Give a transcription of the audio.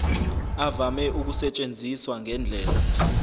avame ukusetshenziswa ngendlela